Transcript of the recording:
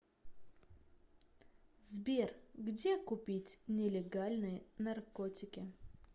сбер где купить нелегальные наркотики